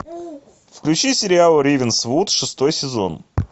включи сериал рейвенсвуд шестой сезон